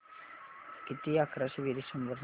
किती अकराशे बेरीज शंभर सांग